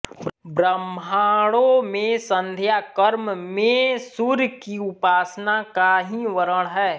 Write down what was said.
ब्राह्मणों में संध्या कर्म में सूर्य की उपासना का ही वर्णन है